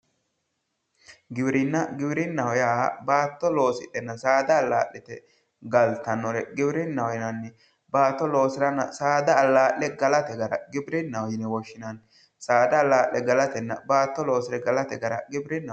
Giwirinna giwirinnaho yaa baatto loosidhenna saada allaa'lite galtannore giwirinnaho yinanni baatto loosirenna saada allaa'late gara giwirinnaho yine woshshinanni saada allale galatenna baatto loosire galate gara giwirinnaho yinanni